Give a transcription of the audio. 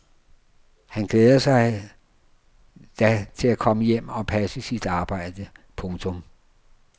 Han glæder sig da til komme hjem og passe sit arbejde. punktum